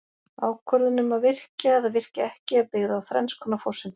Ákvörðun um að virkja eða virkja ekki er byggð á þrenns konar forsendum.